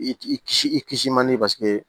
I i kisi i kisi man di paseke